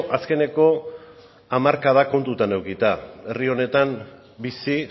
azkeneko hamarkada kontutan edukita herri honetan bizi